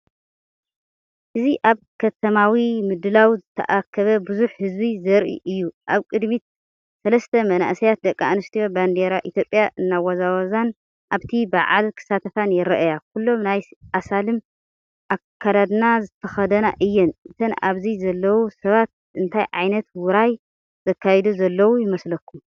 እዚ ኣብ ከተማዊ ምድላው ዝተኣከበ ብዙሕ ህዝቢ ዘርኢ እዩ። ኣብ ቅድሚት ሰለስተ መንእሰያት ደቂ ኣንስትዮ ባንዴራ ኢትዮጵያ እናወዛወዛንኣብቲ በዓል ክሳተፋን ይረኣያ። ኩሎም ናይ ኣስላም ኣከዳድና ዝተኸድና እየን። እተን ኣብዚ ዘለዉ ሰባት እንታይ ዓይነት ውራይ ዘካይዱ ዘለዉ ይመስለኩም?